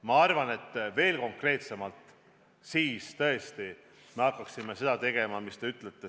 Ma arvan, et veel konkreetsemaks minnes hakkaksime tõesti tegema rehepappi, nagu te ütlete.